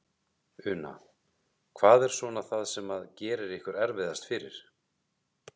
Una: Hvað er svona það sem að gerir ykkur erfiðast fyrir?